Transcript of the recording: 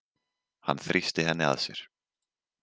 Hann þrýsti henni að sér.